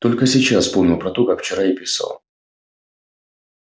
только сейчас вспомнил про то как вчера ей писал